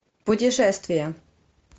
путешествие